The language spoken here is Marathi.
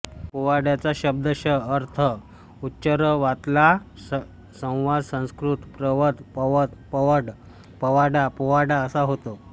पोवाड्याचा शब्दश अर्थ उच्चरवातला संवाद संस्कृत प्र वद पवद पवड पवाडा पोवाडा असा होतो